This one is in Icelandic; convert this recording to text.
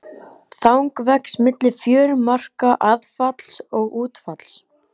Þang vex milli fjörumarka aðfalls og útfalls.